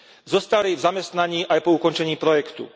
Zostali v zamestnaní aj po ukončení projektu.